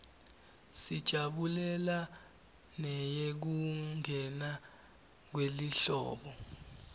sijabulela neyekungena kwelihlobo